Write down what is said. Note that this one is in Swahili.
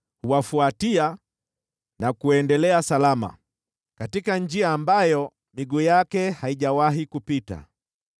Huwafuatia na kuendelea salama, katika njia ambayo miguu yake haijawahi kupita.